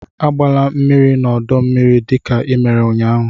agbala mmiri n'ọdọ mmiri, dịka ị mere ụnyaahụ!